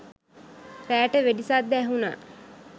රෑට වෙඩි සද්ද ඇහුනා.